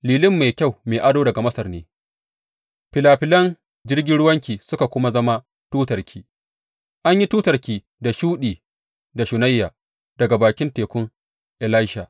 Lilin mai kyau mai ado daga Masar ne filafilan jirgin ruwanki suka kuma zama tutarki; an yi tutarki da shuɗi da shunayya daga bakin tekun Elisha.